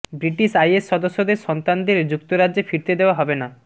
British IS সদস্যদের সন্তানদের যুক্তরাজ্যে ফিরতে দেওয়া হবে না